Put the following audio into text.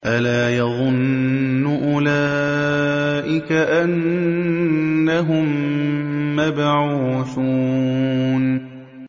أَلَا يَظُنُّ أُولَٰئِكَ أَنَّهُم مَّبْعُوثُونَ